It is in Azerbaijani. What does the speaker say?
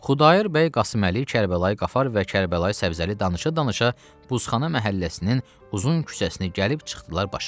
Xudayar bəy, Qasıməli, Kərbəlayı Qafar və Kərbəlayı Səbzəli danışa-danışa Buzxana məhəlləsinin uzun küçəsinə gəlib çıxdılar başa.